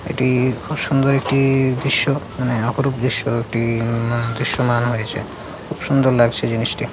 এটি খুব সুন্দর একটি দৃশ্য মানে অপরূপ দৃশ্য এটি-ই দৃশ্যমান হয়েছে খুব সুন্দর লাগছে জিনিসটি।